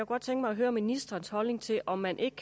godt tænke mig at høre ministerens holdning til om man ikke